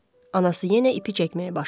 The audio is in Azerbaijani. Anası yenə ipi çəkməyə başladı.